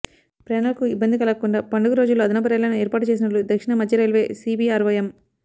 ప్రయాణికులకు ఇబ్బంది కలగకుండా పండుగ రోజుల్లో అదనపు రైళ్లను ఏర్పాటు చేసినట్లు దక్షిణ మధ్య రైల్వే సీపీఆర్వో ఎం